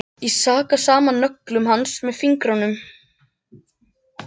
Ég raka saman nöglum hans með fingrunum.